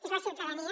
és la ciutadania